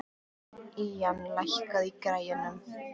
Ían, lækkaðu í græjunum.